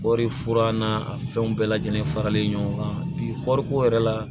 Kɔɔri furan n'a fɛnw bɛɛ lajɛlen faralen ɲɔgɔn kan bi kɔɔriko yɛrɛ la